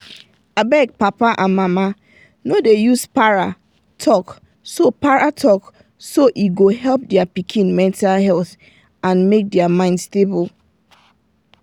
abeg papa and mama no dey use para talk so para talk so e go help their pikin mental health and make their mind stable.